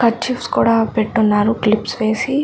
Kerchiefs కూడా పెట్టి ఉన్నారు క్లిప్స్ వేసి.